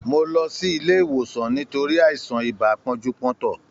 Mó lọ sí ilé ìwòsàn nítorí àìsàn ibà pọ́njú-pọ́ntọ̀.